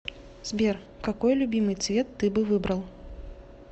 сбер какой любимый цвет ты бы выбрал